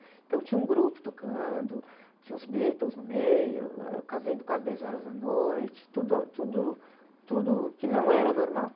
Então tinha um grupo tocando, tinha os Beatles no meio, ãh, eu casei quase dez horas da noite, tudo, tudo, tudo que não era normal.